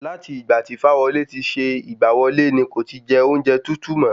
Láti ìgbà tí Fáwọlé ti ṣe ìgbà wọlé ní kò ti jẹ ọ́únjẹ tútù mo